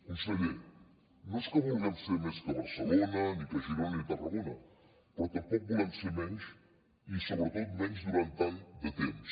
conseller no és que vulguem ser més que barcelona ni que girona ni que tarragona però tampoc volem ser menys i sobretot menys durant tant de temps